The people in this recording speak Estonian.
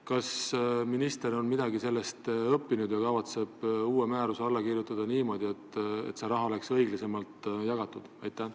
Kas minister on sellest midagi õppinud ja kavatseb alla kirjutada uue määruse, et see raha saaks õiglasemalt jagatud?